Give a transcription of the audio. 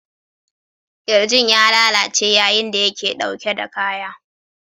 Kirjin ya lalace yayin da yake dauke da kaya.